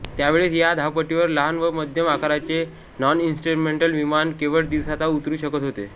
त्यावेळेस या धावपट्टीवर लहान व मध्यम आकाराचे नॉनइस्ट्रुमेंटल विमान केवळ दिवसाच उतरू शकत होते